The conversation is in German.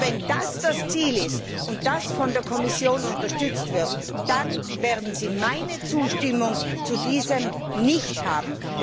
Wenn das das Ziel ist und von der Kommission unterstützt wird, dann werden Sie meine Zustimmung dazu nicht haben.